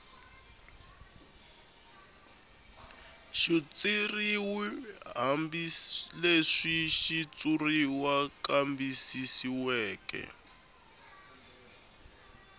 xitshuriw hambileswi xitshuriwa kambisisiweke